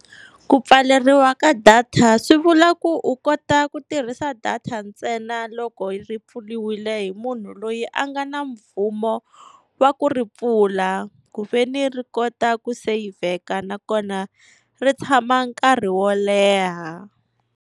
Ku pfaleriwa ka data swi vula ku u kota ku tirhisa data ntsena loko ri pfuriwile hi munhu loyi a nga na mvumo wa ku ri pfula, ku veni ri kota ku seyivheka nakona ri tshama nkarhi wo leha.